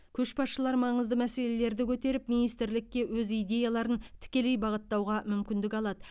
көшбасшылар маңызды мәселелерді көтеріп министрлікке өз идеяларын тікелей бағыттауға мүмкіндік алады